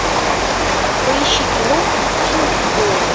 поищи кино гудини и дойл